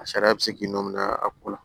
A sariya bɛ se k'i nɔn minɛ a ko la